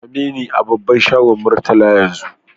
Same ni a babban shagon Murtala yanzu!